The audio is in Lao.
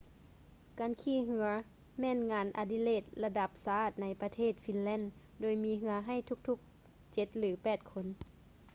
ການຂີ່ເຮືອ ແມ່ນງານອະດິເລກລະດັບຊາດໃນປະເທດຟິນແລນ ໂດຍມີເຮືອໃຫ້ທຸກໆເຈັດ ຫຼື ແປດຄົນ